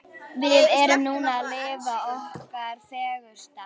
Við erum núna að lifa okkar fegursta.